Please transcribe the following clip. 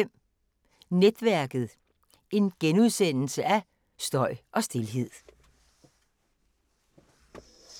00:05: Netværket: Støj og stilhed *